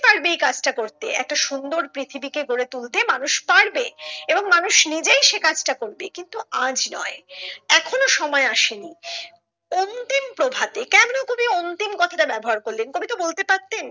পারবে এই কাজটা করতে একটা সুন্দর পৃথিবী কে গড়ে তুলতে মানুষ পারবে এবং মানুষ নিজেই সে কাজটা করবে কিন্তু আজ নয় এখনো সময় আসেনি অন্তিম প্রভাতে কেন কবি অন্তিম কথা টা ব্যাবহার করলেন কবি তো বলতে পারতেন।